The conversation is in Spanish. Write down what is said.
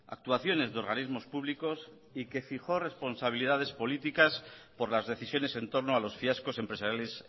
actuaciones de organismos públicos y que fijó responsabilidades políticas por las decisiones en torno a los fiascos empresariales